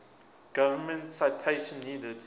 government citation needed